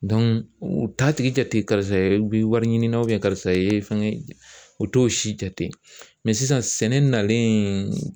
u t'a tigi jate karisa i bɛ wari ɲini na karisa e fɛn u t'o si jate sisan sɛnɛ nalen